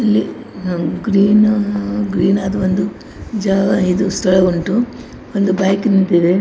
ಇಲ್ಲಿ ಅಹ್ ಗ್ರೀನ್ ಅಹ್ ಗ್ರೀನ್ ನರ ಒಂದು ಜಾಗ ಇದು ಸ್ಥಳ ಉಂಟು ಒಂದು ಬೈಕ್ ನಿಂತಿದೆ.